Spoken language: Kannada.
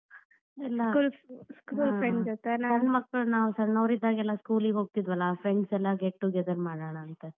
ಸಣ್ಣ ಮಕ್ಕಳು ನಾವ್ ಸಣ್ಣೋರಿದ್ದಾಗೆಲ್ಲಾ school ಇಗ್ ಹೋಗ್ತಿದ್ವಲಾ friends ಎಲ್ಲಾ get together ಮಾಡೋಣ ಅಂತಾ ಹ್ಮ್.